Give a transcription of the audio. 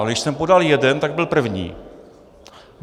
Ale když jsem podal jeden, tak byl první.